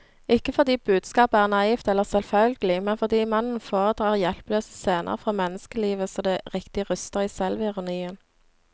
Ikke fordi budskapet er naivt eller selvfølgelig, men fordi mannen foredrar hjelpeløse scener fra menneskelivet så det riktig ryster i selvironien.